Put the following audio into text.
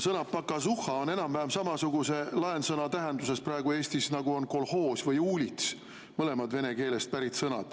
Sõna "pokazuhha" on praegu Eestis enam-vähem samasuguse laensõna tähendusega nagu "kolhoos" või "uulits", mõlemad on vene keelest pärit sõnad.